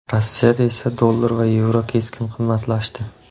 Rossiyada esa dollar va yevro keskin qimmatlashdi .